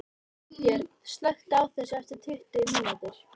Freybjörn, slökktu á þessu eftir tuttugu mínútur.